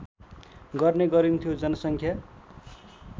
गर्ने गरिन्थ्यो जनसङ्ख्या